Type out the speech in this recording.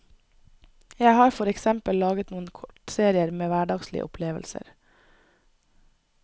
Jeg har for eksempel laget noen kortserier med hverdagslige opplevelser.